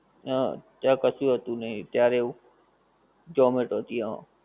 હા ત્યાં કશુ હતું ત્યારે એવું zomato થી હા